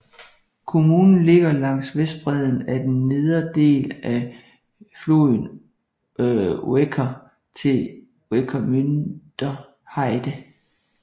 Kommunen ligger langs vestbredden af den nedre del af floden Uecker til Ueckermünder Heide